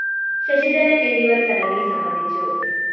ശശിധരന്‍ എന്നിവര്‍ ചടങ്ങില്‍ സംബന്ധിച്ചു